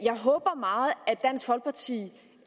dansk folkeparti